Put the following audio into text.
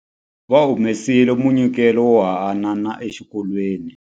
Va humesile munyikelo wo hanana exikolweni.